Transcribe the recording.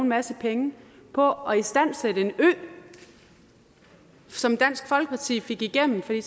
masse penge på at istandsætte en ø som dansk folkeparti fik igennem fordi